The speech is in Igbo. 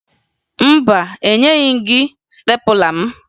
Mba, enyeghi m gị stepụla m